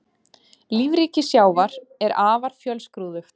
Lífríki sjávar er afar fjölskrúðugt.